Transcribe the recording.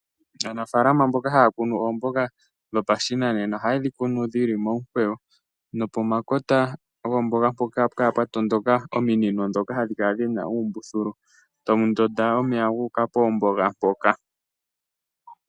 Aanafaalama mboka haya kunu oomboga dhopashinanena ohaye dhi kunu dhi li momukweyo nopomakota goomboga mpoka ohapu kala pwa tondoka ominino ndhoka dhi na uumbululu tawu ndonda omeya guuka poomboga mpoka.